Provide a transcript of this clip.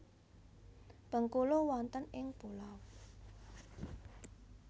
Bengkulu wonten ing pulau